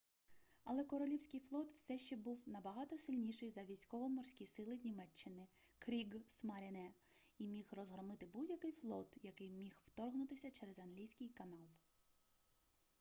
але королівський флот все ще був набагато сильніший за військово-морські сили німеччини кріґсмаріне і міг розгромити будь-який флот який міг вторгнутися через англійський канал